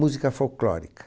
Música folclórica.